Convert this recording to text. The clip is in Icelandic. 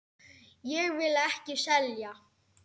Ég vil ekki selja.